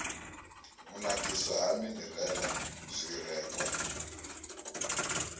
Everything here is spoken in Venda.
u nakiswa ha minirala zwirengwa